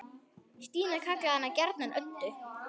Stína kallaði hana gjarnan Öddu.